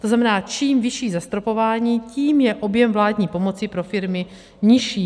To znamená, čím vyšší zastropování, tím je objem vládní pomoci pro firmy nižší.